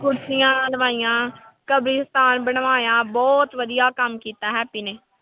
ਕੁਰਸੀਆਂ ਲਵਾਈਆਂ, ਕਬਰੀਸਤਾਨ ਬਣਵਾਇਆ, ਬਹੁਤ ਵਧੀਆ ਕੰਮ ਕੀਤਾ ਹੈਪੀ ਨੇ।